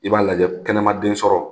I b'a lajɛ kɛnɛma den sɔrɔ